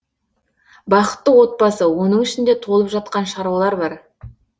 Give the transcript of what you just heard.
бақытты отбасы оның ішінде толып жатқан шаруалар бар